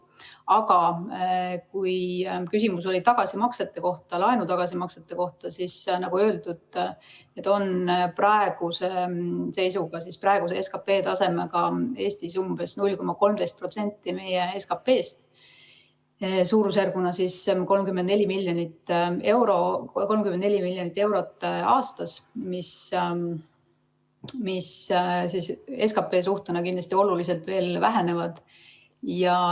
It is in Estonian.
Aga kui küsimus oli laenu tagasimaksete kohta, siis nagu öeldud, need on praeguse seisuga, praeguse SKP tasemega Eestis umbes 0,13% meie SKP‑st. Suurusjärguna on see 34 miljonit eurot aastas, mis suhtena SKP‑sse kindlasti oluliselt väheneb.